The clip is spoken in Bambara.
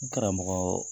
N karamɔgɔ